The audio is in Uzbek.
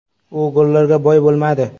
U gollarga boy bo‘lmadi.